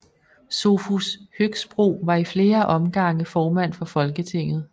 Sophus Høgsbro var i flere omrgange formand for Folketinget